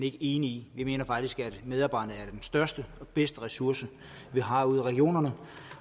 ikke enige i vi mener faktisk at medarbejderne er største og bedste ressource man har ude i regionerne